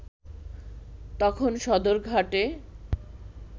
তখন সদরঘাটে